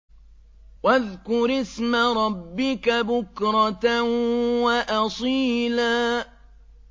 وَاذْكُرِ اسْمَ رَبِّكَ بُكْرَةً وَأَصِيلًا